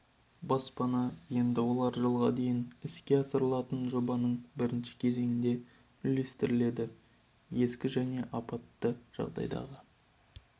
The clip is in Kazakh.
баспана енді олар жылға дейін іске асырылатын жобаның бірінші кезеңінде үлестіріледі ескі және апатты жағдайдағы